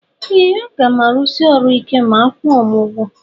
Ee agam arusi ọrụ ike ma akwụọ m ugwọ.